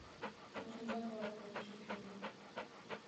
очень захватывающий фильм